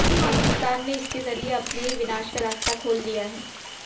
पाकिस्तान ने इसके ज़रिए अपने ही विनाश का रास्ता खोल लिया है